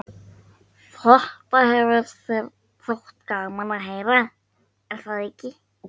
Þetta hefði þér þótt gaman að heyra, er það ekki?